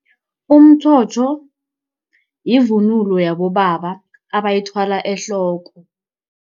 Umtjhotjho yivunulo yabobaba abayithwala ehloko.